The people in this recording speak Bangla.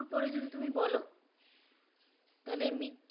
মৃত্যুর পরে তুমি যদি বলো তাহলে মৃত্যুর